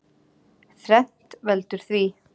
Þrennt veldur því.